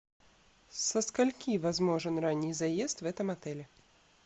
со скольки возможен ранний заезд в этом отеле